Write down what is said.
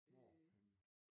Hvorhenne